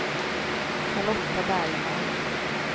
Charlotta Bergman